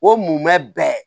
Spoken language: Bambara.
O mun bɛ